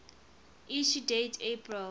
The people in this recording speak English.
issue date april